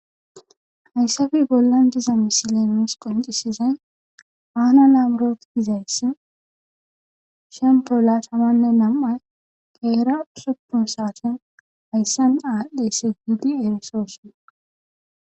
Haysape bollan diza misile nuus qonccissizay fana le amrot gizayssi shemppo laathamanne nam7ay qeera usuppun saathen hayssa aadhdheesi gidi erissoosona.